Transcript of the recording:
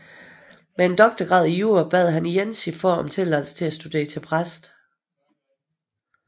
Med en doktorgrad i jura bad han igen sin far om tilladelse til at studere til præst